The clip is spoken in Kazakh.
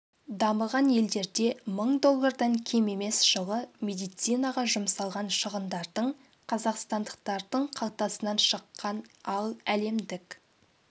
дамыған елдерде мың доллардан кем емес жылы медицинаға жұмсалған шығындардың қазақстандықтардың қалтасынан шыққан ал әлемдік